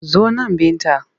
Zo nan Binta!